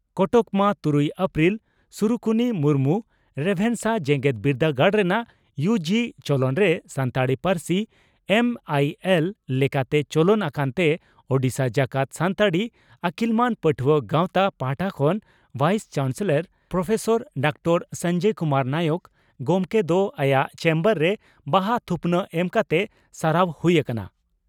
ᱠᱚᱴᱚᱠ ᱢᱟᱹ ᱛᱩᱨᱩᱭ ᱮᱯᱨᱤᱞ (ᱥᱤᱨᱩᱠᱩᱱᱤ ᱢᱩᱨᱢᱩ) ᱺ ᱨᱮᱵᱷᱮᱱᱥᱟ ᱡᱮᱜᱮᱛ ᱵᱤᱨᱫᱟᱹᱜᱟᱲ ᱨᱮᱱᱟᱜ ᱭᱩᱹᱡᱤᱹ ᱪᱚᱞᱚᱱᱨᱮ ᱥᱟᱱᱛᱟᱲᱤ ᱯᱟᱹᱨᱥᱤ ᱮᱢᱹᱟᱭᱤᱹᱮᱞᱹ ᱞᱮᱠᱟᱛᱮ ᱪᱚᱞᱚᱱ ᱟᱠᱟᱱ ᱛᱮ ᱳᱰᱤᱥᱟ ᱡᱟᱠᱟᱛ ᱥᱟᱱᱛᱟᱲᱤ ᱟᱹᱠᱤᱞᱢᱟᱱ ᱯᱟᱹᱴᱷᱩᱣᱟᱹ ᱜᱟᱶᱛᱟ ᱯᱟᱦᱴᱟ ᱠᱷᱚᱱ ᱵᱷᱟᱭᱤᱥ ᱪᱟᱱᱥᱮᱞᱚᱨ ᱯᱨᱚᱯᱷᱮᱥᱟᱨ ᱰᱚᱠᱴᱚᱨ ᱥᱚᱸᱡᱚᱭ ᱠᱩᱢᱟᱨ ᱱᱟᱭᱚᱠ ᱜᱚᱢᱠᱮ ᱫᱚ ᱟᱭᱟᱜ ᱪᱮᱢᱵᱟᱨ ᱨᱮ ᱵᱟᱦᱟ ᱛᱷᱩᱯᱱᱟᱜ ᱮᱢ ᱠᱟᱛᱮᱫ ᱥᱟᱨᱦᱟᱣ ᱦᱩᱭ ᱟᱠᱟᱱᱟ ᱾